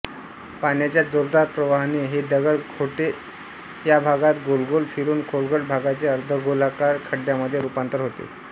पाण्याच्या जोरदार प्रवाहाने हे दगडखोटे या भागात गोलगोल फिरून खोलगट भागाचे अर्धगोलाकार खड्ड्यांमध्ये रूपांतर होते